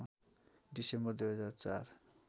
December २००४